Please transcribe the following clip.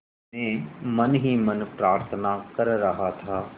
मैं मन ही मन प्रार्थना कर रहा था